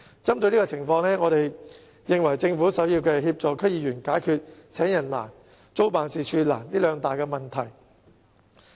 針對這種情況，我們認為政府首要是協助區議員解決"請人難"、"租辦事處難"這兩大難題。